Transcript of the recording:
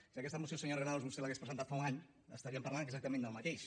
si aquesta moció senyora granados vostès l’hagués presentat fa un any estaríem parlant exactament del mateix